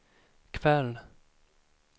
kväll